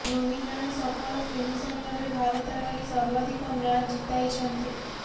ଧୋନୀ ଜଣେ ସଫଳ ଫିନିଶର୍ ଭାବେ ଭାରତ ଲାଗି ସର୍ବାଧିକ ମ୍ୟାଚ ଜିତାଇଛନ୍ତି